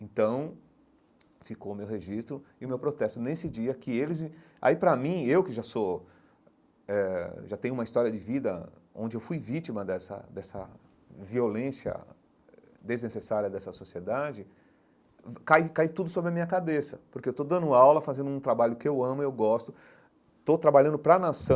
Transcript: Então, ficou o meu registro e o meu protesto nesse dia que eles... Aí, para mim, eu que já sou eh já tenho uma história de vida onde eu fui vítima dessa dessa violência desnecessária dessa sociedade, cai cai tudo sobre a minha cabeça, porque eu estou dando aula, fazendo um trabalho que eu amo e eu gosto, estou trabalhando para a nação,